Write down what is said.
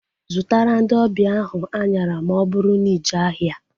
Zụtara ndị ọbịa ahu anyara ma ọ bụrụ na ije ahịa